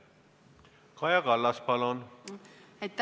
Kaja Kallas, palun!